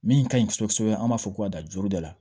Min ka ɲi kosɛbɛ kosɛbɛ an b'a fɔ ko ka dan joroda